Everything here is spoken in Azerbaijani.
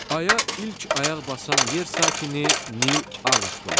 Aya ilk ayaq basan yer sakini Nil Armstronqdur.